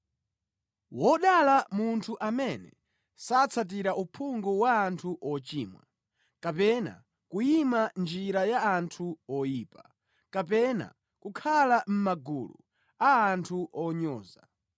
Wodala munthu amene satsatira uphungu wa anthu ochimwa, kapena kuyima mʼnjira ya anthu oyipa, kapena kukhala mʼmagulu a anthu onyoza.